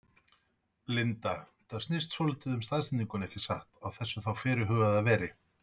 Linda: Þetta snýst svolítið um staðsetninguna ekki satt, á þessu þá fyrirhuguðu veri?